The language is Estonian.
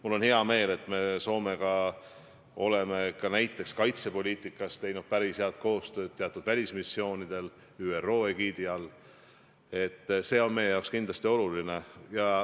Mul on hea meel, et me Soomega oleme näiteks kaitsepoliitikas teinud päris head koostööd teatud välismissioonidel ÜRO egiidi all, see on meile kindlasti oluline.